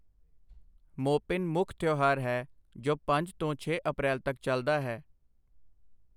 ਮੋਪਿਨ ਮੁੱਖ ਤਿਉਹਾਰ ਹੈ ਜੋ ਪੰਜ ਤੋਂ ਛੇ ਅਪ੍ਰੈਲ ਤੱਕ ਚੱਲਦਾ ਹੈ।